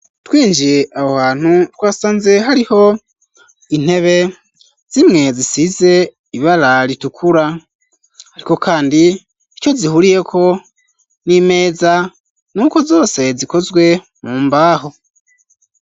twinjiye aho hantu twasanze hariho intebe zimwe zisize ibara ritukura, ariko kandi ico zihuriyeko n'imeza nuko zose zikozwe mu mbaho.